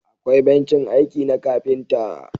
akwai bencin aiki na kafinta